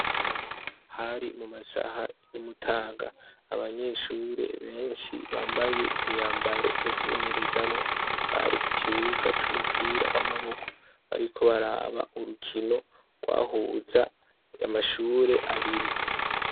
Hari mumasaha y'umutaga abanyeshure benshi bambaye imyambaro yo kwimenyerezamwo bari kukibuga c'umupira w'amaboko bariko baraba urukino rwahuza amashure abiri.